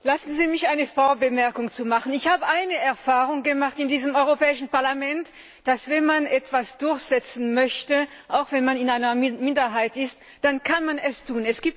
Herr Präsident! Lassen Sie mich eine Vorbemerkung machen Ich habe eine Erfahrung gemacht hier im Europäischen Parlament Wenn man etwas durchsetzen möchte, auch wenn man in einer Minderheit ist, dann kann man es tun.